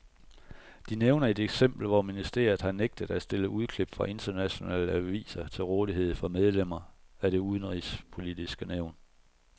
De nævner et eksempel, hvor ministeriet har nægtet at stille udklip fra internationale aviser til rådighed for medlemmer af det udenrigspolitiske nævn.